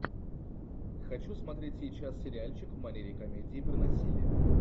хочу смотреть сейчас сериальчик в манере комедии про насилие